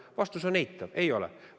Vastus on eitav: ei ole.